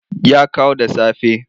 Ya kawo da safe.